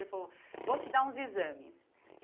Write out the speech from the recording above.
Ele falou, vou te dar uns exames.